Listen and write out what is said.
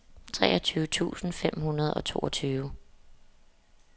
treogtyve tusind fem hundrede og toogtyve